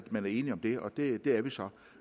man er enige om det og det det er vi så